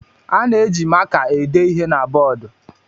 A na-eji maka ede ihe na bọọdụ.